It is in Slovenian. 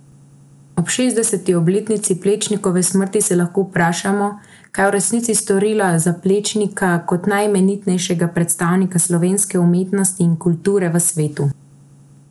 Ob šestdeseti obletnici Plečnikove smrti se lahko vprašamo, kaj je v resnici storila za Plečnika kot najeminentnejšega predstavnika slovenske umetnosti in kulture v svetu?